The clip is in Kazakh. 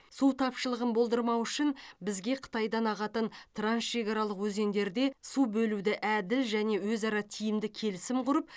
су тапшылығын болдырмау үшін бізге қытайдан ағатын трансшекаралық өзендерде су бөлуді әділ және өзара тиімді келісім құрып